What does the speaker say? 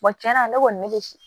tiɲɛna ne kɔni ne bɛ